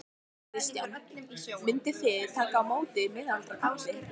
Kristján: Mynduð þið taka á móti miðaldra kalli?